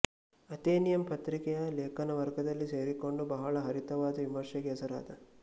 Athenaeum ಪತ್ರಿಕೆಯ ಲೇಖನವರ್ಗದಲ್ಲಿ ಸೇರಿಕೊಂಡು ಬಹಳ ಹರಿತವಾದ ವಿಮರ್ಶೆಗೆ ಹೆಸರಾದ